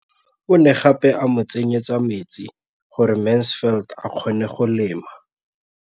O ne gape a mo tsenyetsa metsi gore Mansfield a kgone go lema.